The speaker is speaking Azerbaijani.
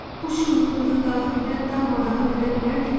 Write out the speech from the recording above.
Bu çılğınlığı daxildən darmadağın edə bilərdimi?